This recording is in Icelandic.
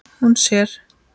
Hún sér